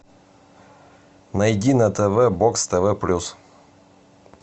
найди на тв бокс тв плюс